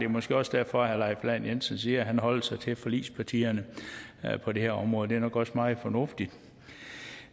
måske også derfor herre leif lahn jensen siger at han holder sig til forligspartierne på det her område det er nok også meget fornuftigt